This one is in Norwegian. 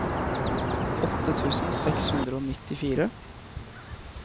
åtte tusen seks hundre og nittifire